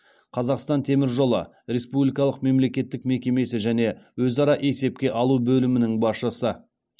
қазақстан темір жолы республикалық мемлекеттік мекемесі және өзара есепке алу бөлімінің басшысы